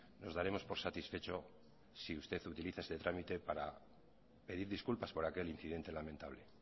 nos daremos por satisfecho si usted utiliza este trámite para pedir disculpas por aquel incidente lamentable